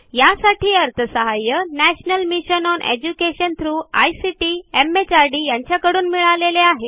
यासाठी national mission on education through ICT MHRD यांच्याकडून अर्थसहाय्य मिळालेले आहे